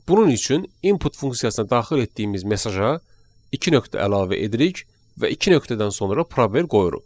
Bunun üçün input funksiyasına daxil etdiyimiz mesaja iki nöqtə əlavə edirik və iki nöqtədən sonra probel qoyuruq.